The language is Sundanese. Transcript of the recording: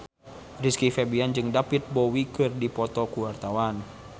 Rizky Febian jeung David Bowie keur dipoto ku wartawan